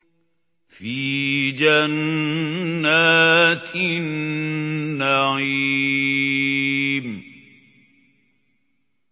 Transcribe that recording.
فِي جَنَّاتِ النَّعِيمِ